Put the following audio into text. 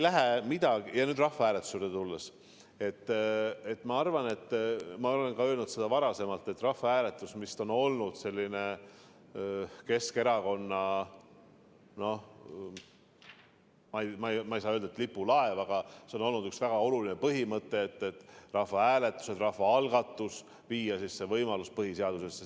Rahvahääletuse juurde tulles ma arvan ja ma olen öelnud seda ka varasemalt, et rahvahääletus on olnud selline Keskerakonna, ma ei saa öelda, et lipulaev, aga see on olnud üks väga oluline põhimõte, et viia rahvahääletuse, rahvaalgatuse võimalus põhiseadusesse.